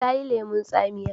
ta yi lemun tsamiya